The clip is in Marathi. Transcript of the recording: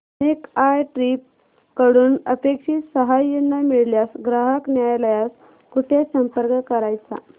मेक माय ट्रीप कडून अपेक्षित सहाय्य न मिळाल्यास ग्राहक न्यायालयास कुठे संपर्क करायचा